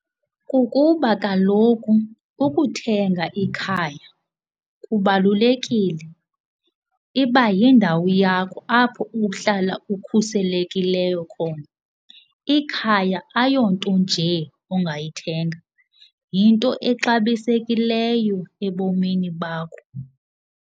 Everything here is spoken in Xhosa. Kukuba kaloku ukuthenga ikhaya kubalulekile, iba yindawo yakho apho uhlala ukhusekileyo khona. Ikhaya ayo nto nje ongayithenga. Yinto exabisekileyo ebomini bakho.